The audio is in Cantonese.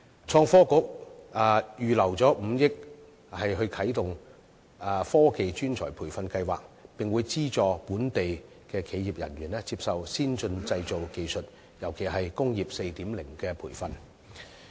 創新及科技局預留5億元啟動"科技專才培育計劃"，並會資助本地企業人員接受先進製造技術，尤其是"工業 4.0" 的培訓。